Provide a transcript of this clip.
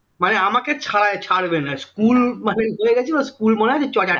মানে আমাকে ছাড় ছাড়বেনা school মানে school মনে আছে